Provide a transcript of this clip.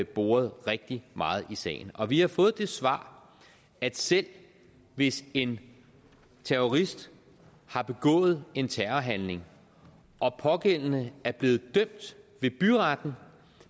boret rigtig meget i sagen og vi har fået det svar at selv hvis en terrorist har begået en terrorhandling og pågældende er blevet dømt ved byretten